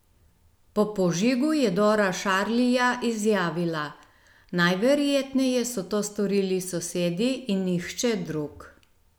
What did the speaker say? Po požigu je Dora Šarlija izjavila: "Najverjetneje so to storili sosedi in nihče drug.